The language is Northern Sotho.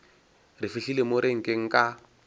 re fihlile mo renkeng ka